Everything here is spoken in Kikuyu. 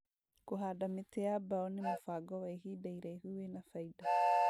Kũhanda mĩtĩ ya mbao nĩ mũbango wa ihinda iraihu wĩna baida